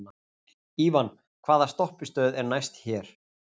Ívan, hvaða stoppistöð er næst mér?